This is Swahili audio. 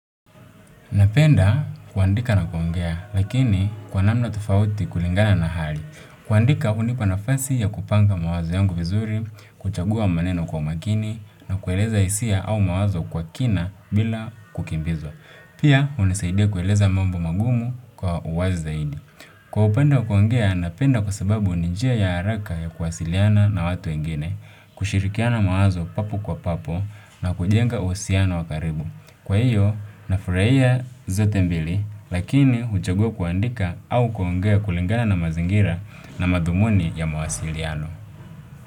Napenda kuandika na kuongea, lakini kwa namna tofauti kulingana na hali. Kuandika hunipa nafasi ya kupanga mawazo yangu vizuri, kuchagua maneno kwa makini, na kueleza hisia au mawazo kwa kina bila kukimbizwa. Pia, hunisaidia kueleza mambo magumu kwa uwazi zaidi. Kwa upande wa kuongea, napenda kwa sababu ni njia ya haraka ya kuwasiliana na watu wengine, kushirikiana mawazo papo kwa papo, na kujenga uhusiano wa karibu. Kwa hiyo, nafurahia zote mbili, lakini uchagua kuandika au kuongea kulingana na mazingira na madhumuni ya mawasiliano.